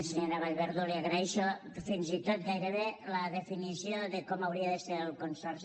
senyora vallverdú li agraeixo fins i tot gairebé la definició de com hauria de ser el consorci